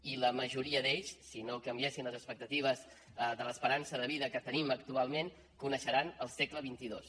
i la majoria d’ells si no canviessin les expectatives de l’esperança de vida que tenim actualment coneixeran el segle xxii